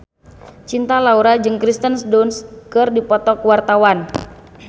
Cinta Laura jeung Kirsten Dunst keur dipoto ku wartawan